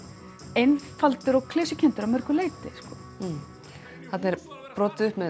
einfaldur og klisjukenndur að mörgu leyti þarna er brotið upp með